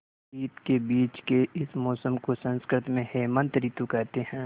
शीत के बीच के इस मौसम को संस्कृत में हेमंत ॠतु कहते हैं